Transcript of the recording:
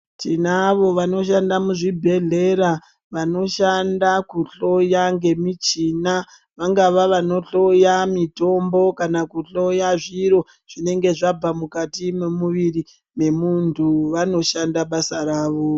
Tinavo vanoshanda muzvibhedhlera, vanoshanda kuhloya ngemichina vangava vanohloya mitombo kana kuhloya zviro zvinenge zvabva mukati mwemuviri memuntu , vanoshanda basa ravo.